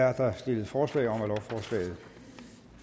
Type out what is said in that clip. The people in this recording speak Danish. er der stillet forslag om at lovforslaget